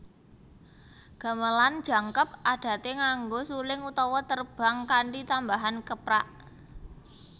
Gamelan jangkep adate nganggo suling utawa terbang kanthi tambahan keprak